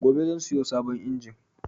Gobe zan siyo sabon injin